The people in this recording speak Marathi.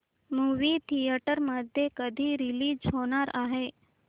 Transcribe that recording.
मूवी थिएटर मध्ये कधी रीलीज होणार आहे